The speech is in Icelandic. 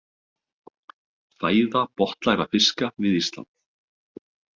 Fæða botnlægra fiska við Ísland.